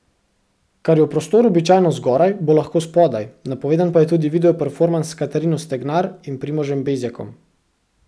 Kar je v prostoru običajno zgoraj, bo lahko spodaj, napovedan pa je tudi video performans s Katarino Stegnar in Primožem Bezjakom.